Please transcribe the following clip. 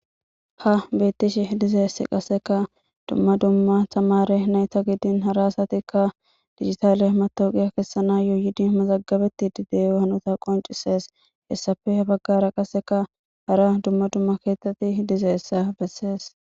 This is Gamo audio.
ha beettishi dizeessi qaseka dumma dumma tamare nayta giddin haraasatikka digitaale matoqiya kessana yooyidi mazagabetti dideehanota qoncisees hessafehe baggara qaseka hara dumma dumma keethtatti dizeessa bessees